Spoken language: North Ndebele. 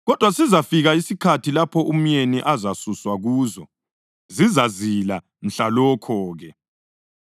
Kodwa sizafika isikhathi lapho umyeni ezasuswa kuzo, zizazila mhlalokho-ke.